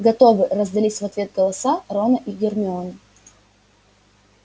готовы раздались в ответ голоса рона и гермионы